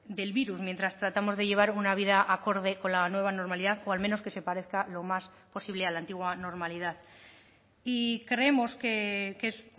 del virus mientras tratamos de llevar una vida acorde con la nueva normalidad o al menos que se parezca lo más posible a la antigua normalidad y creemos que es